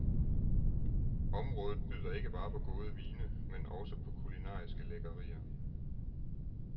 Området byder ikke bare på gode vine, men også på kulinariske lækkerier.